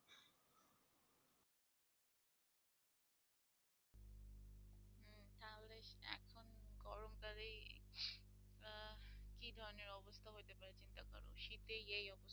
কি ধরনের অবস্থা হইতে পারে চিন্তা করো শীতেই এই অবস্থা।